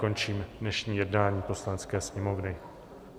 Končím dnešní jednání Poslanecké sněmovny.